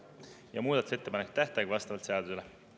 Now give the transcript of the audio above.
Ja muudatusettepanekute tähtaeg on vastavalt seadusele.